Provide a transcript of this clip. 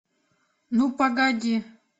ну погоди